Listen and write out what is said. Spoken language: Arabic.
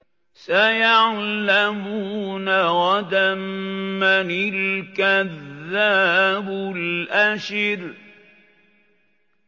سَيَعْلَمُونَ غَدًا مَّنِ الْكَذَّابُ الْأَشِرُ